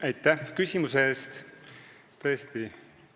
Aitäh küsimuse eest!